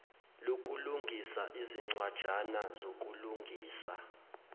lokulungisa izincwajana zokulungisa